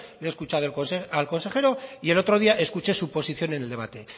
le he escuchado al consejero y el otro día escuché su posición en el debate